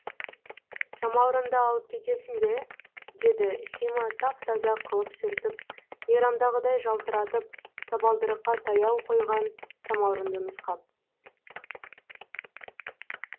самаурынды алып кетесің бе деді сима тап таза қылып сүртіп мейрамдағыдай жалтыратып табалдырыққа таяу қойған самаурынды нұсқап